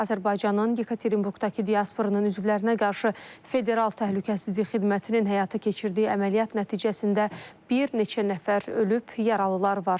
Azərbaycanın Yekaterinburqdakı diasporunun üzvlərinə qarşı federal təhlükəsizlik xidmətinin həyata keçirdiyi əməliyyat nəticəsində bir neçə nəfər ölüb, yaralılar var.